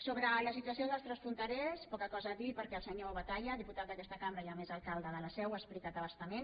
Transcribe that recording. sobre la situació dels transfronterers poca cosa a dir perquè el senyor batalla diputat d’aquesta cambra i a més alcalde de la seu ha explicat a bastament